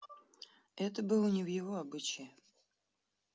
это было не в его обычае